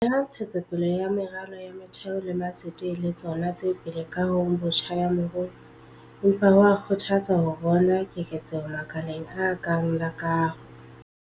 Leha ntshetso pele ya meralo ya motheo le matsete e le tsona tse pele kahong botjha ya moruo, empa ho a kgothatsa ho bona keketseho makaleng a kang la kaho.